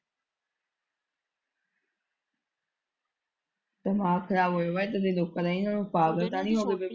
ਦਿਮਾਗ ਖਰਾਬ ਹੋਇਆ ਪਿਆ ਇੱਧਰ ਦੇ ਲੋਕਾਂ ਦਾ ਇਹਨੂੰ ਪਾਗਲ ਤਾਂ ਨੀ ਹੋ ਗਏ।